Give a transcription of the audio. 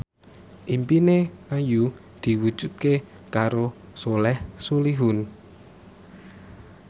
impine Ayu diwujudke karo Soleh Solihun